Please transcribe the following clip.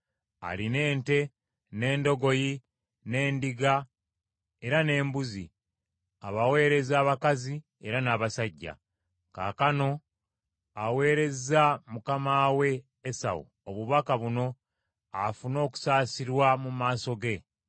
alina ente, n’endogoyi, n’endiga era n’embuzi, abaweereza abakazi era n’abasajja. Kaakano aweerezza mukama we Esawu obubaka buno afune okusaasirwa mu maaso ge.’ ”